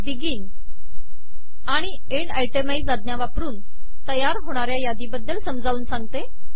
begin आणि end itemise आज्ञा वापरून तयार होणाऱ्या यादी बद्दल मी आता समजावून सांगते